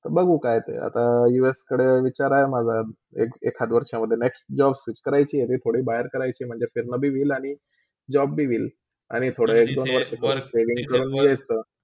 ते बघू आता कायते आता UAS कडे विचार आहे माझा एक - एखाद वर्षामधे next job switch करायची थोडा बहार करायची आहे म्हणजे कधी म्हणजे फाहिरना भी होईल आणि job भी वेईल आणि थोड्य एक - दोन वर्षी saving करू यायचा.